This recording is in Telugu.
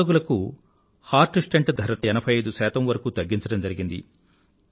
హృద్రోగులకు హార్ట్ స్టెంట్ ధర 85 వరకూ తగ్గించడం జరిగింది